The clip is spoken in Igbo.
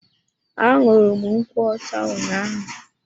Anuru m nkwocha ụnyaahụ.